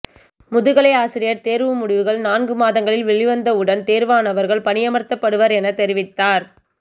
முதுகலை ஆசிரியர் தேர்வு முடிவுகள் நான்கு மாதங்களில் வெளிவந்த உடன் தேர்வானவர் பணியமர்த்தப்படுவர் எனத் தெரிவித்தார்